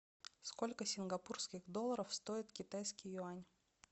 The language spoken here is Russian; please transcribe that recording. сколько сингапурских долларов стоит китайский юань